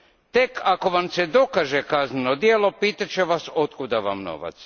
Tek ako vam se dokaže kazneno djelo, pitat će vas otkud vam novac.